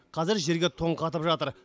қазір жерге тоң қатып жатыр